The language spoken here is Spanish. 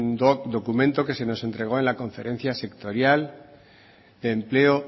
doc documento que se nos entregó en la conferencia sectorial de empleo